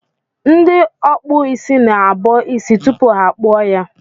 Ndị ọkpụ isi na-abọ isi tupu ha akpụọ ya.